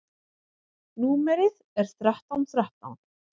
Númerið er þrettán þrettán.